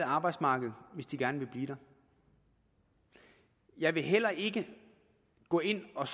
arbejdsmarkedet hvis de gerne vil blive der jeg vil heller ikke gå ind og